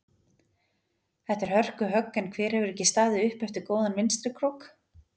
Þetta er hörku högg en hver hefur ekki staðið upp eftir góðan vinstri krók?